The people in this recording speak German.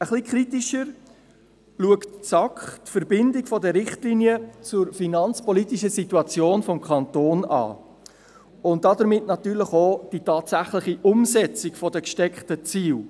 Ein wenig kritischer betrachtet die SAK die Verbindung der Richtlinien mit der finanzpolitischen Situation des Kantons, und damit verbunden die tatsächliche Umsetzung der gesteckten Ziele.